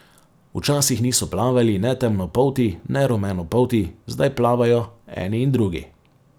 Včasih niso plavali ne temnopolti ne rumenopolti, zdaj plavajo eni in drugi.